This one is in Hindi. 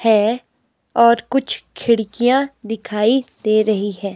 है और कुछ खिड़कियां दिखाई दे रही है।